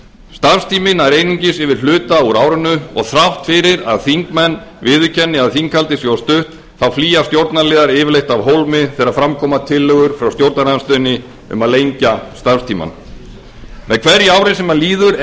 starfstíminn nær einungis yfir hluta úr árinu og þrátt fyrir að þingmenn viðurkenni að þinghaldið sé of stutt flýja stjórnarliðar yfirleitt af hólmi þegar fram koma tillögur frá stjórnarandstöðunni um að lengja starfstímann með hverju ári sem líður